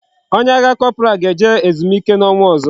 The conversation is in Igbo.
Onye agha corporal ga eje ezumike na onwa ozo